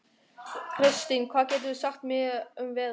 Kristin, hvað geturðu sagt mér um veðrið?